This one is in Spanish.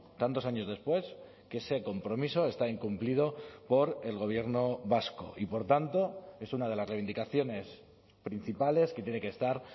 tantos años después que ese compromiso está incumplido por el gobierno vasco y por tanto es una de las reivindicaciones principales que tiene que estar